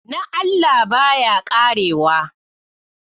Na Allah, baya ƙarewa